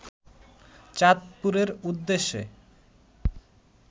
চাঁদপুরের উদ্দেশ্যে